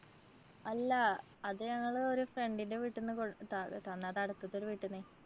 അല്ലാ. അത് ഞങ്ങളൊരു friend ന്‍റെ വീട്ടിന്ന് ത~തന്നതാ അടുത്തത്തൊരു വീട്ടിന്ന്.